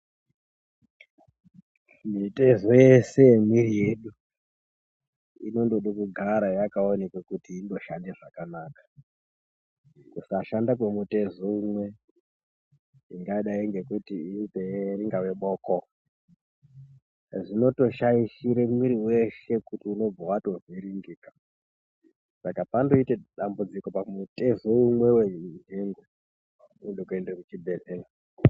Mitezo yeshe yemwiri yedu inondode kugara yakaonekwe kuti inoshandae zvakanaka kusashanda kwemutezo umwe ingadai ngekuti inzee ingaa boko zvinotoshaishire mwiri weshe kuti unobvawatovhiringika saka pandoite dambudziko pamutezo umwe wenhengo zvinode kuende muchibhehlera.